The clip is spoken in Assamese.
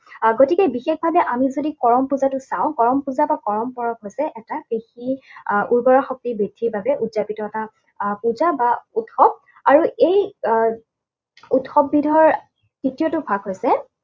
আহ গতিকে বিশেষভাৱে আমি যদি কৰম পূজাটো চাওঁ, কৰম পূজা বা কৰম পৰৱ হৈছে এটা কৃষি আহ উৰ্বৰা শক্তি বৃদ্ধিৰ বাবে উৎযাপিত এটা আহ পূজা বা উৎসৱ। আৰু এই আহ উৎসৱবিধৰ তৃতীয়টো ভাগ হৈছে